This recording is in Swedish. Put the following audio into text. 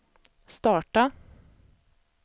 starta